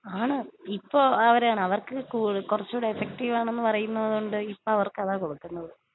ആണ്.ഇപ്പോ അവരാണ്. അവർക്ക് കൊറച്ചു കൂടെ എഫെക്റ്റീവ് ആണെന്ന് പറയുന്നത് കൊണ്ട് ഇപ്പവർക്ക് അതാ കൊടുക്കുന്നത്.